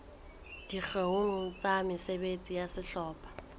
dikgeong tsa mesebetsi ya sehlopha